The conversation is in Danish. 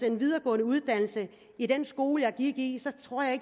en videregående uddannelse i den skole jeg gik i så tror jeg